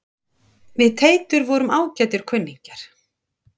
Við Teitur vorum ágætir kunningjar.